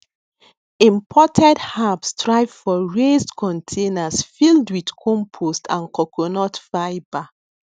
imported herbs thrive for raised containers filled wit compost and coconut fibre